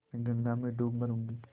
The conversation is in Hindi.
मैं गंगा में डूब मरुँगी